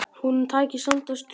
Honum tækist samt að strjúka.